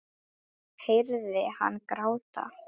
Ég heyri hann gráta.